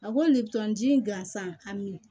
A ko le bi n gansan hami